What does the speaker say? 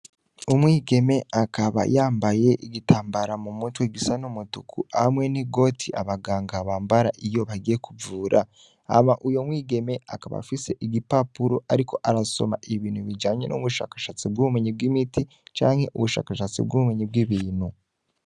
Umwigeme akaba yambaye igitamabara m'umutwe gisa n'umutuku hamwe n'igoti abanganga bambara iyo agiye kuvura, hama uyo mwigeme akaba afise igipapuro ariko arasoma ibintu bijanye n'ubushakashatsi bw'ubumenyi bw'imiti, canke ubushakashatsi bw'ubumenyi bw'ibintu.